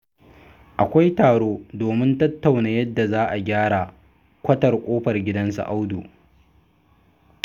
Akwai taro domin tattauna yadda za a gyara kwatar ƙofar gidan su Audu.